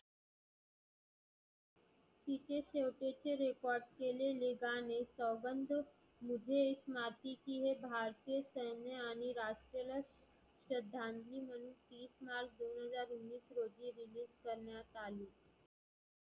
तिथे record केलेले गाणे सौगंध मुझे इस माती की हे भारतीय सैन्य आणि राष्ट्रीय श्रधांजली म्हणून तीस मार्च दोन हजार उन्निस रोजी release करण्यात आली.